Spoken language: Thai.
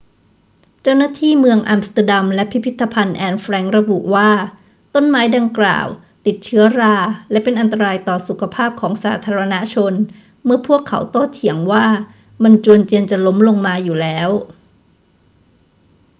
เจ้าหน้าที่เมืองอัมสเตอร์ดัมและพิพิธภัณฑ์แอนน์แฟรงค์ระบุว่า ต้นไม้ดังกล่าวติดเชื้อราและเป็นอันตรายต่อสุขภาพของสาธารณชนเมื่อพวกเขาโต้เถียงว่ามันจวนเจียนจะล้มลงมาอยู่แล้ว